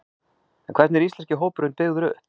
En hvernig er íslenski hópurinn byggður upp?